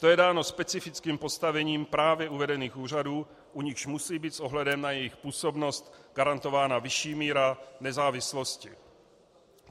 To je dáno specifickým postavením právě uvedených úřadů, u nichž musí být s ohledem na jejich působnost garantována vyšší míra nezávislosti.